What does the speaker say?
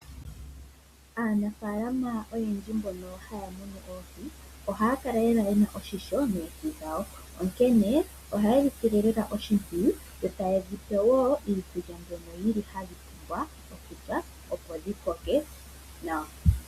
Aanafalama oyendji mbono haya munu oohi, ohaya kala yena esilo shipwiyu noohi dhawo onkene ohaye dhisile lela oshipwiyu yo taye dhipe wo iikulya mbyono yili hayi liwa kudho opo dhikoke nawa.